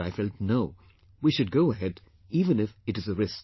But I felt, "No, we should go ahead even if it is a risk